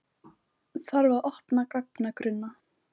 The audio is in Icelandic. Þarf að opna gagnagrunna